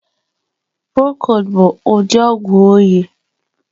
Prokod bu udi ogwu oyị.